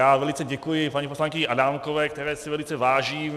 Já velice děkuji paní poslankyni Adámkové, které si velice vážím.